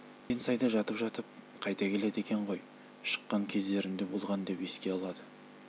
деген сайда жатып-жатып қайтып келеді екен ғой шыққан кездерім де болған деп еске алады